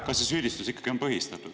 … kas see süüdistus ikkagi on põhistatud.